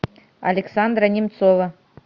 александра немцова